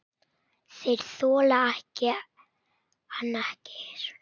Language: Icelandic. Þeir þola hann ekki.